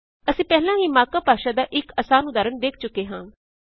ਅਸੀਂ ਪਹਿਲਾਂ ਹੀ ਮਾਰਕ ਅਪ ਭਾਸ਼ਾ ਦਾ ਇਕ ਆਸਾਨ ਉਦਾਹਰਣ ਦੇਖ ਚੁੱਕੇ ਹਾਂ